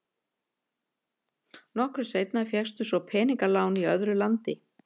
Nokkru seinna fékkst svo peningalán í öðru landi.